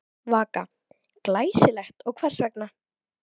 Vaka: Glæsilegt og hvers vegna?